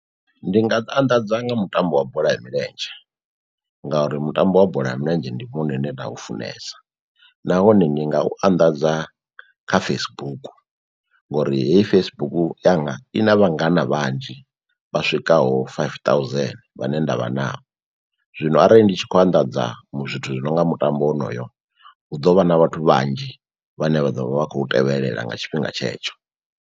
Ndi nga anḓadza nga mutambo wa bola ya milenzhe ngauri mutambo wa bola ya milenzhe ndi wone une nda u funesa nahone ndi nga u anḓadza kha Facebook, ngori heyi Facebook yanga i na vhangana vhanzhi vha swikaho five thousand vhane ndavha navho. Zwino arali ndi tshi khou anḓadza mu zwithu zwi nonga mutambo wonoyo hu ḓovha na vhathu vhanzhi vhane vha ḓovha vha khou tevhelela nga tshifhinga tshe tsho.